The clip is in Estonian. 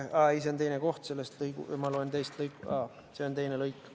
Aga ei, see on teine koht, ma loen teist lõiku.